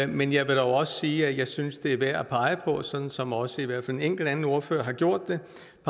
men jeg vil dog også sige at jeg synes det er værd at pege på sådan som også i hvert fald en enkelt anden ordfører har gjort det